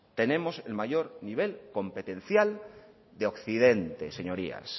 tenemos el mayor nivel competencial de occidente señorías